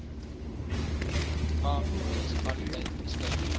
ma munisipaliteit beskik